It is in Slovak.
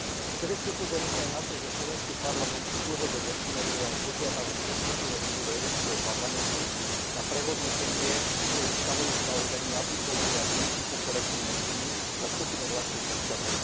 Chcem ešte upozorniť aj na to, že slovenský parlament dlhodobo ignoruje aj požiadavku petičného výboru Európskeho parlamentu na prehodnotenie svojho stanoviska ohľadne aplikovania princípu kolektívnej viny na skupinu vlastných občanov.